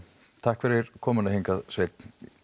takk fyrir komuna hingað Sveinn